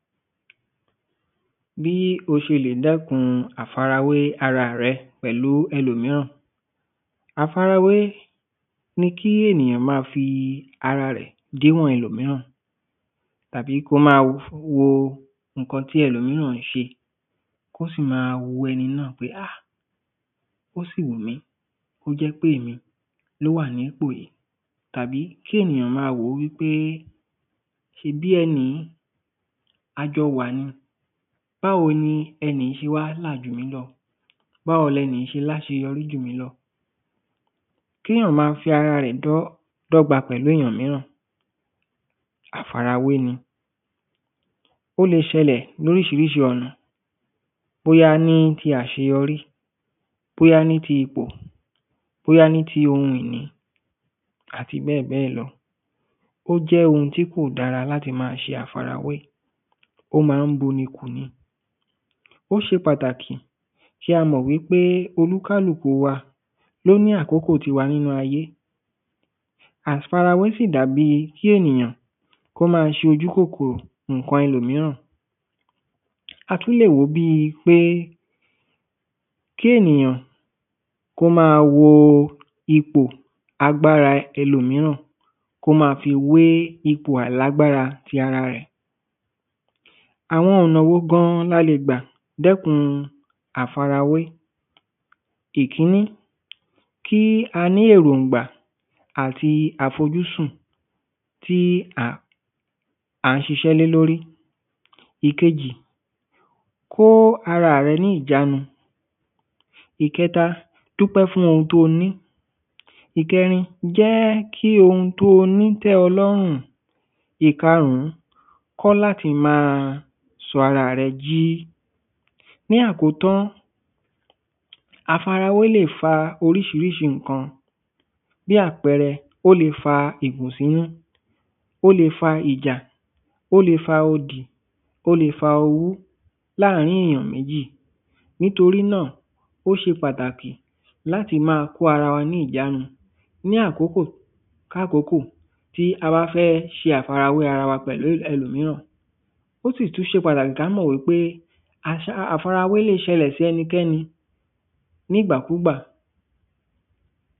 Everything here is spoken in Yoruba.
Bí ó ṣe lè dẹ́kun àfarawé ara rẹ pẹ̀lú ẹlòmíràn. Àfaɹawé ni kí ènìyàn má fi ara rẹ̀ díwọ̀n ẹ̀lòmíràn tàbí kí o má wo nǹkan tí ẹlòmíràn ń ṣe kó sì má wo ẹni náà wípé a kó sì wí kó jẹ́ pé èmi ló wà nípò yìí tàbí kí ènìyàn má wò wípé ṣebí ẹni yìí a jọ wà ni báwo ni ẹni yìí ṣe wá là jù mí lọ báwo lẹniyìí ṣe láṣeyọrí jù mí lọ kéyàn má fi ara rẹ̀ dọ́gba pẹ̀lú ẹlòmíràn àfarawé ni ó le ṣẹlẹ̀ lóríṣiríṣi ọ̀nà bóyá ni ti àṣeyọrí bóyá ní ti ipò bóyá ní ti ohun ìní àti bẹ́ẹ̀ bẹ́ẹ̀ lọ. Ó jẹ́ ohun tí kò dára láti má ṣàfarawé ó má ń bunikù ni ó ṣe pàtàkì kí a mọ̀ wípé oníkálùkù wa ló ní àkókò tiwa nínú ayé. Àfarawé sì dàbí kí ènìyàn kí ó má ṣojú kòkòrò nǹkan ẹ̀lòmíràn a tún lè wòó bí pé kí ènìyàn kó má wo ipò agbára ẹlòmíràn kó má fi wé ipò àìlágbára ti ara rẹ̀. Àwọn ọ̀nà wo gan la lè gbà dẹ́kun àfarawé ìkíní kí a ní èròǹgbà àti àfojúsùn tí à ń ṣiṣẹ́ lé lórí. Ìkejì kó ara rẹ ní ìjánu Ìkẹta dúpé fún ohun tó ní ìkẹrin jẹ́ kí ohun tó ní tẹ́ ọ lọ́rùn ìkarùn ún kọ́ láti má sọ ara rẹ jí. Ní àkótán Àfarawé lè fa oríṣiríṣi nǹkan bí àpẹrẹ ó le fa ìkùn sínú ó le fa ìjà ó le fa odì ó le fa owú láàrin èyàn méjì nítorí náà ó ṣe pàtàkì láti má kó ara wa ní ìjánu ní àkókò kákókò tí a bá fẹ́ ṣe àfarawé ara wa pẹ̀lú ẹlòmíì ó sì tún ṣe pàtàkì ká mọ̀ wípé àfarawé lè ṣẹlẹ̀ sénikẹ́ni ní ìgbà kúgbà.